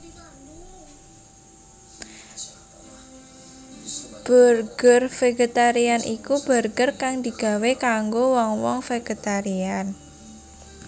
Burger vegetarian iku burger kang digawé kanggo wong wong vegetarian